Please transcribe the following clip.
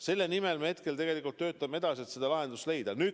Selle nimel me töötame edasi, et seda lahendust leida.